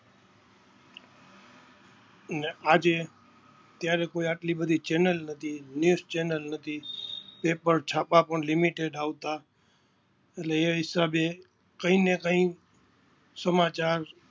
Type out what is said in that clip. અને આજે ત્યારે કોઈ આટલી બધી ચેનલ નતી બે જ ચેનલ હતી એકવાર છાપા પણ Limited આવતા અને એ હિસાબે કંઈને કંઈ સમાચાર